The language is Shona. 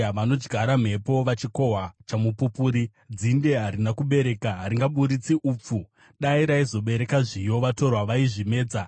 “Vanodyara mhepo vachikohwa chamupupuri. Dzinde harina kubereka; haringabudisi upfu. Dai raizobereka zviyo, vatorwa vaizvimedza.